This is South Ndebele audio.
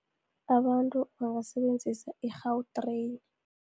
Abantu abasebenzisa i-Gautrain.